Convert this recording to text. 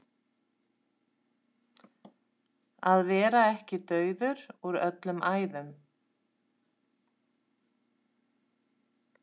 Að vera ekki dauður úr öllum æðum